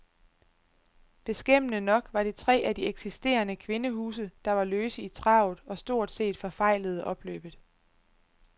Beskæmmende nok var det tre af de eksisterende kvindehuse, der var løse i travet og stort set forfejlede opløbet.